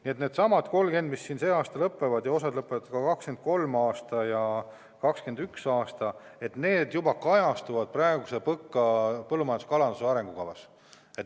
Kõik need 30 arengukava – osa lõpeb sel aastal, osa lõpeb 2021. aastal või 2023. aastal – kajastuvad praeguses PõKas, põllumajanduse ja kalanduse arengukavas.